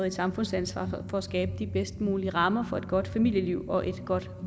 et samfundsansvar for at skabe de bedst mulige rammer for et godt familieliv og et godt